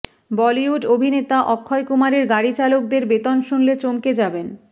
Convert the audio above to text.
বলিউড অভিনেতা অক্ষয় কুমারের গাড়ি চালকদের বেতন শুনলে চমকে যাবেন